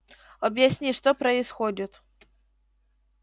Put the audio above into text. объясни что происходит